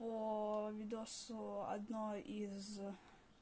оо видосы одно из